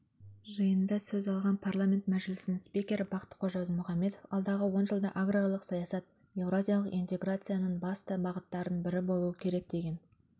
жиында сөз алған парламент мжілісінің спикері бақтықожа ізмұхамбетов алдағы он жылда аграрлық саясат еуразиялық интеграцияның басты бағыттарының бірі болу керек деген